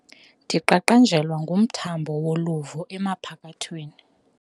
Ndiqaqanjelwa ngumthambo woluvo emphakathweni.